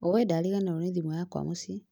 ũĩndariganĩrwo nĩ thimũ yakwa mũciĩ